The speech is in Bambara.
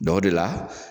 Dɔ o de la